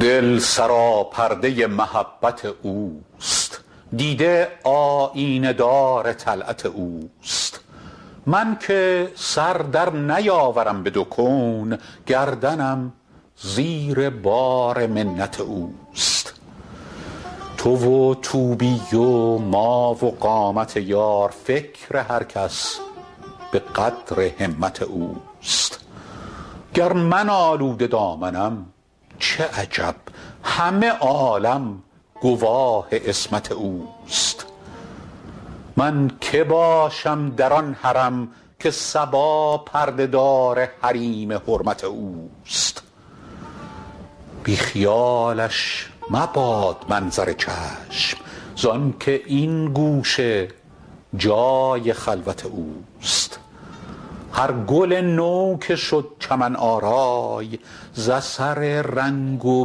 دل سراپرده محبت اوست دیده آیینه دار طلعت اوست من که سر در نیاورم به دو کون گردنم زیر بار منت اوست تو و طوبی و ما و قامت یار فکر هر کس به قدر همت اوست گر من آلوده دامنم چه عجب همه عالم گواه عصمت اوست من که باشم در آن حرم که صبا پرده دار حریم حرمت اوست بی خیالش مباد منظر چشم زآن که این گوشه جای خلوت اوست هر گل نو که شد چمن آرای ز اثر رنگ و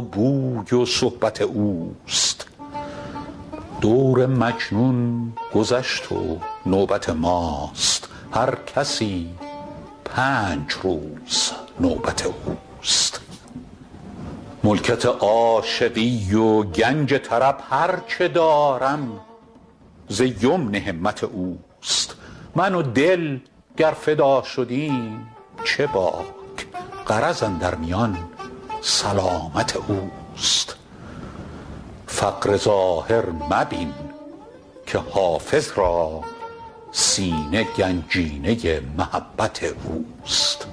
بوی صحبت اوست دور مجنون گذشت و نوبت ماست هر کسی پنج روز نوبت اوست ملکت عاشقی و گنج طرب هر چه دارم ز یمن همت اوست من و دل گر فدا شدیم چه باک غرض اندر میان سلامت اوست فقر ظاهر مبین که حافظ را سینه گنجینه محبت اوست